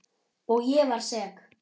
Og ég var sek.